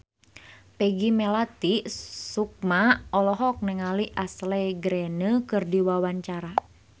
Peggy Melati Sukma olohok ningali Ashley Greene keur diwawancara